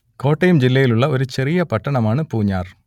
കോട്ടയം ജില്ലയിലുള്ള ഒരു ചെറിയ പട്ടണമാണ് പൂഞ്ഞാർ